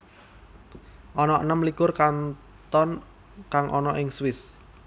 Ana enem likur kanton kang ana ing Swiss